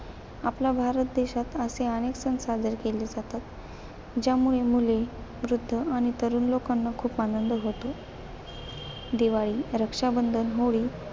आपला भारत देशात असे अनेक सण साजरे केले जातात. ज्यामुळे मुले, वृद्ध आणि तरूण लोकांना खूप आनंद होतो. दिवाळी, रक्षाबंधन, होळी,